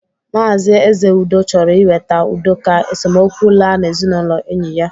Maazi Ezeudo chọrọ iweta udo ka esomokwu laa n'ezinaụlọ enyi ya